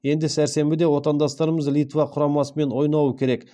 енді сәрсенбіде отандастарымыз литва құрамасымен ойнауы керек